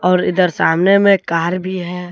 और इधर सामने में कार भी है।